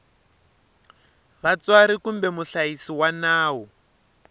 vatswari kumbe muhlayisi wa nawu